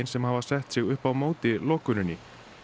sem hafa sett sig upp á móti lokuninni